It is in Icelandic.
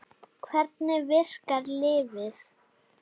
En hvernig virkar lyfið?